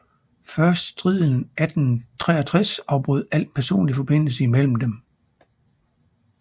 Først striden 1863 afbrød al personlig forbindelse imellem dem